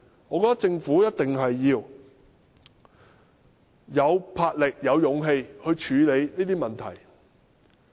我認為政府一定要有魄力、有勇氣處理這些問題。